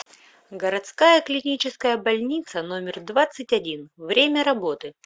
городская клиническая больница номер двадцать один время работы